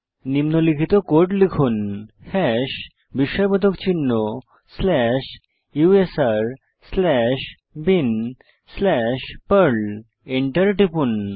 নিম্নলিখিত কোড লিখুন হ্যাশ বিস্ময়বোধক চিহ্ন slash USR slash bin slash Perl Enter টিপুন